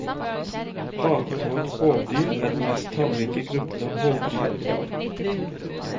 Partåete hovdyr er den mest tallrike gruppen av hovdyr i dag.